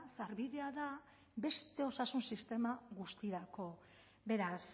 sarbidea da beste osasun sistema guztirako beraz